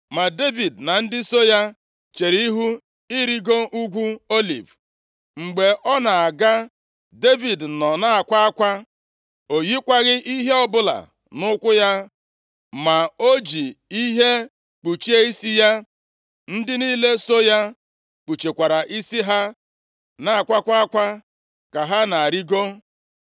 Ma Devid na ndị so ya chere ihu irigo Ugwu Oliv. Mgbe ọ na-aga, Devid nọ na-akwa akwa. O yikwaghị ihe ọbụla nʼụkwụ ya, ma o ji ihe kpuchie isi ya. + 15:30 Nke a na-egosipụta ọnọdụ obi ọjọọ na iru ụjụ. Gụọ \+xt 2Sa 19:4; Est 6:12; Izk 24:17,23; Aịz 20:2-4\+xt* Ndị niile so ya kpuchikwara isi ha na-akwakwa akwa ka ha na-arịgo.